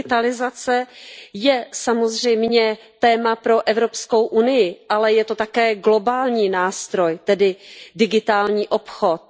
Digitalizace je samozřejmě téma pro Evropskou unii, ale je to také globální nástroj, tedy digitální obchod.